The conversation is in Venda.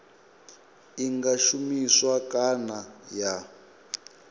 i nga shumiswa kana ya